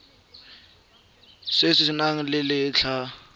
se se nang le letlha